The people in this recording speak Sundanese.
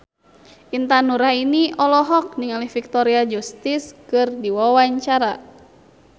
Intan Nuraini olohok ningali Victoria Justice keur diwawancara